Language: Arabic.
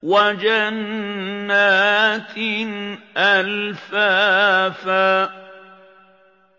وَجَنَّاتٍ أَلْفَافًا